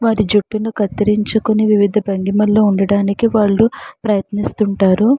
వారి జుట్టును కర్తరించుకొని వివిధ వుండడానికి వాళ్ళు ప్రయత్నిస్తుంటారు.